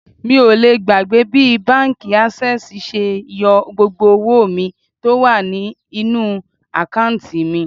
Mi ò lè gbàgbé bí báńkì Ásẹ́sìì ṣe yọ gbogbo owó mi tó wà ní inú àkántì mi.